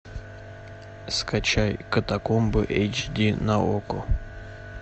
скачай катакомбы эйч ди на окко